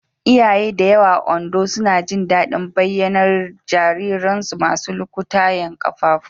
Iyaye da yawa a Ondo suna jin daɗin bayyanar jariransu masu lukutayen ƙafafu.